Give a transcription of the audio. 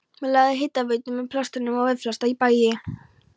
lagðar hitaveitur með plaströrum á velflesta bæi í